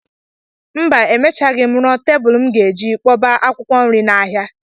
Mba, emechaghị m rụọ tebụl m ga-eji akpọba akwụkwọ nri m n'ahịa.